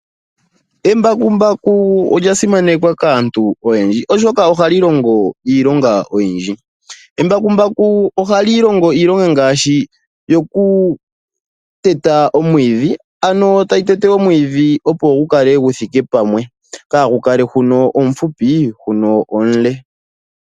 Embakumbaku olya simanekwa kaantu oyendji oshoka ohali longo iilonga oyindji. Embakumbaku ohali longo iilonga ngaashi yokuteta omwiidhi, ano tayi tete omwiidhi opo gu kale gu thiike pamwe. Kaagu kale huno omufupi, huno omule.